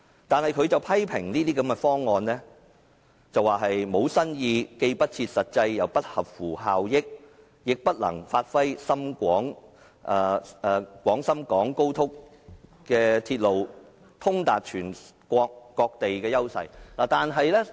但是，他批評這些方案沒有新意，既不切實際又不合乎效益，亦不能發揮高鐵通達全國各地的優勢。